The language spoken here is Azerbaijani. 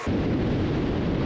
İndi tam üstündədir.